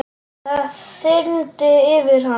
Það þyrmdi yfir hann.